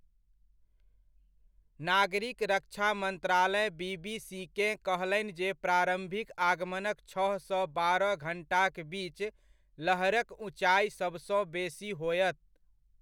नागरिक रक्षा मन्त्रालय बीबीसीकेँ कहलनि जे प्रारम्भिक आगमनक छह सँ बारह घण्टाक बीच लहरक ऊँचाइ सबसँ बेसी होयत।